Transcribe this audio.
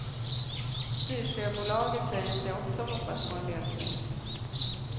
Styrsöbolaget säger sig också hoppas på en lösning.